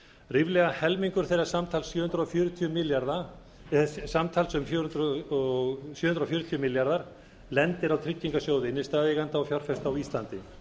ríflega helmingur þeirra samtals um sjö hundruð fjörutíu milljarðar króna lendir á tryggingarsjóði innstæðueigenda og fjárfesta á íslandi